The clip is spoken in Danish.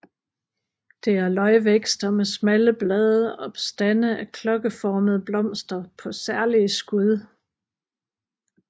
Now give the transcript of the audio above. Det er løgvækster med smalle blade og stande af klokkeformede blomster på særlige skud